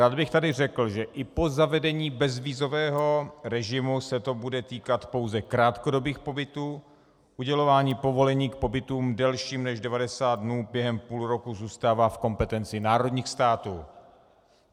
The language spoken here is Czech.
Rád bych tady řekl, že i po zavedení bezvízového režimu se to bude týkat pouze krátkodobých pobytů, udělování povolení k pobytům delším než 90 dnů během půl roku zůstává v kompetenci národních států.